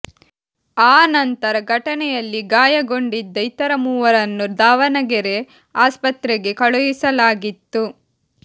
ಆ ನಂತರ ಘಟನೆಯಲ್ಲಿ ಗಾಯಗೊಂಡಿದ್ದ ಇತರ ಮೂವರನ್ನು ದಾವಣಗೆರೆ ಆಸ್ಪತ್ರೆಗೆ ಕಳುಹಿಸಲಾಗಿತ್ತು